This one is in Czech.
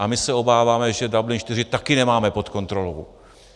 A my se obáváme, že Dublin IV taky nemáme pod kontrolou.